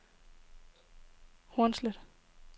Hornslet